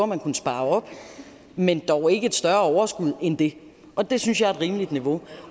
man kunne spare op men dog ikke et større overskud end det og det synes jeg er et rimeligt niveau